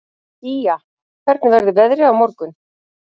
Ýja, hvernig verður veðrið á morgun?